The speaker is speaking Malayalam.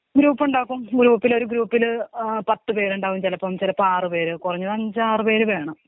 ഗ്രൂപ്പുണ്ടാക്കും ഗ്രൂപ്പില് ഒരു ഗ്രൂപ്പില് പത്ത് പേരുണ്ടാവും ചിലപ്പോ ചെലപ്പോ ആറ് പേരുണ്ടാവും കൊറഞ്ഞതു അഞ്ചാറ് പേര് വേണം.